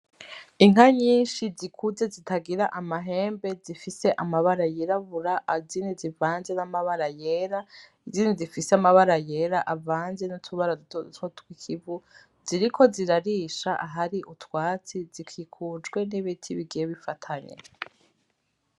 Inka nyinshi zikuze zitagira amahembe zifise amabara yirabura azini zivanje n'amabara yera izindi zifise amabara yera avanze n'utubara duto duto tw'ikivu ziriko zirarisha ahari utwatsi zikikujwe n'ibiti bigiye bifatanye.